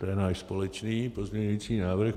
To je náš společný pozměňující návrh.